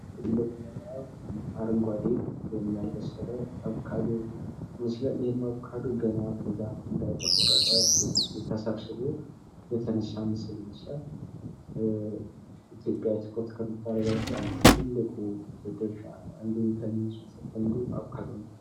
አረንጓዴ ወይም ያልበሰለ አቮካዶ ይመስላል። ይህም አቮካዶ ገና ከዛፍ እንደተቆረጠ ተሰብስቦ የተነሳ ምስል ይመስላል። ኢትዮጵያ ኤክስፖርት ከምታደርጋቸው ትልቁን ድርሻ አንዱ አቮካዶ ነው።